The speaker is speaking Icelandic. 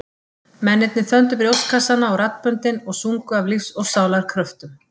Mennirnir þöndu brjóstkassana og raddböndin og sungu af lífs og sálar kröftum.